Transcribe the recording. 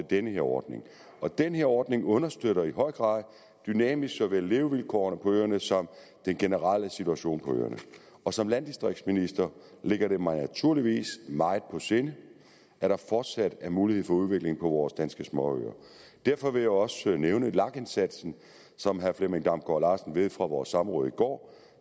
den her ordning og den her ordning understøtter i høj grad dynamisk såvel levevilkårene på øerne som den generelle situation på øerne og som landdistriktsminister ligger det mig naturligvis meget på sinde at der fortsat er mulighed for udvikling på vores danske småøer derfor vil jeg også nævne lag indsatsen som herre flemming damgaard larsen ved fra vores samråd i går